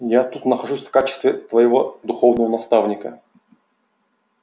я тут нахожусь в качестве твоего духовного наставника